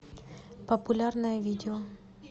популярное видео